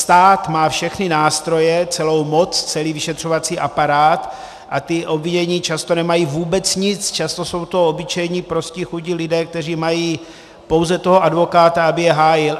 Stát má všechny nástroje, celou moc, celý vyšetřovací aparát a ti obvinění často nemají vůbec nic, často jsou to obyčejní, prostí, chudí lidé, kteří mají pouze toho advokáta, aby je hájil.